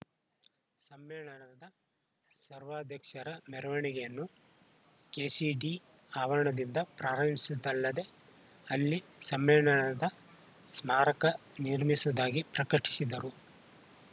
ಸಮ್ಮೇಳನದ ಸರ್ವಾಧ್ಯಕ್ಷರ ಮೆರವಣಿಗೆಯನ್ನು ಕೆಸಿಡಿ ಆವರಣದಿಂದ ಪ್ರಾರಿಂಸಿದಲ್ಲದೆ ಅಲ್ಲಿ ಸಮ್ಮೇಳನದ ಸ್ಮಾರಕ ನಿರ್ಮಿಸದಾಗಿ ಪ್ರಕಟಿಸಿದರು